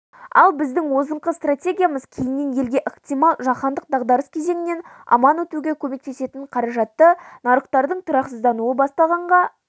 ал біздің озыңқы стратегиямыз кейіннен елге ықтимал жаһандық дағдарыс кезеңінен аман өтуге көмектесетін қаражатты нарықтардың тұрақсыздануы басталғанға